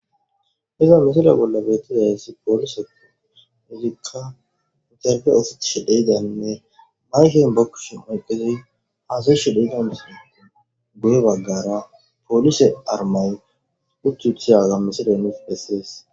Iza misila bolla beetizayssi poolise izikka interbe oothetishe de'izaninne mayken be kushen oyqidi haasa'ishe de'iza masates guye baggara poolise armay utti uthidaga misiley nuus besses.